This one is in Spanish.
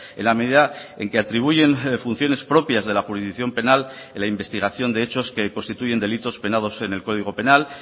en la medida en que atribuyen funciones propias de la jurisdicción penal en la investigación de hechos que constituyen delitos penados en el código penal